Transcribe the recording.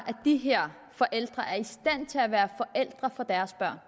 de her forældre er i stand til at være forældre for deres børn